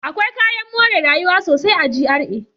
Akwai kayan more rayuwa sosai a GRA.